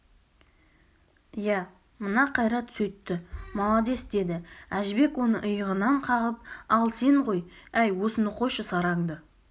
иә мына қайрат сөйтті маладес деді әжібек оны иығынан қағып ал сен ғой әй осыны қойшы сараңды